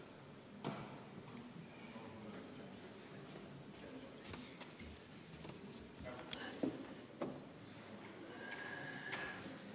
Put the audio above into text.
V a h e a e g